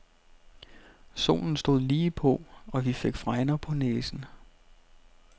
Solen stod ligepå, og vi fik fregner på næsen.